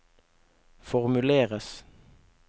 formuleres